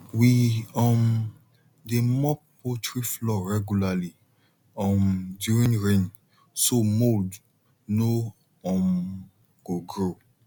we um dey mop poultry floor regularly um during rain so mould no um go grow